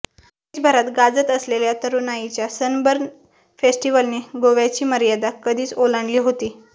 देशभरात गाजत असलेल्या तरुणाईच्या सनबर्न फेस्टिव्हलने गोव्याची मर्यादा कधीच ओलांडली होती